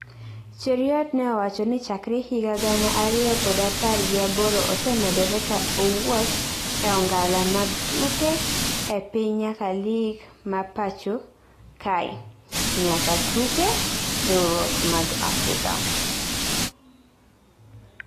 Cheruiyot ne owacho ni chakre higa gana ariyo kod apar gi aboro osemedore ka owuok e ongala mag tuke e piny nyaka lig ma pachokak kae nya tuke riwruok mag Afrika